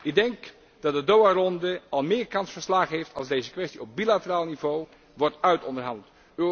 Ik denk dat de Doha ronde al meer kans van slagen heeft, als deze kwestie op bilateraal niveau wordt uitonderhandeld.